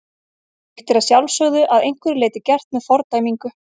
Slíkt er að sjálfsögðu að einhverju leyti gert með fordæmingu.